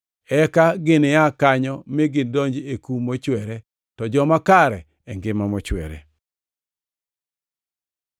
“Eka gini aa kanyo mi gidonji e kum mochwere, to joma kare e ngima mochwere.”